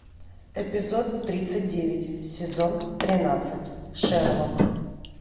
эпизод тридцать девять сезон тринадцать шерлок